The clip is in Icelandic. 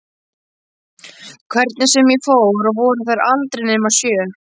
Hvernig sem ég fór að voru þær aldrei nema sjö.